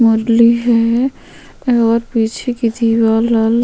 मुरली है और पीछे कुछु --